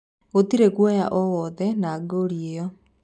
Gutiri guoya owothe na goli iyo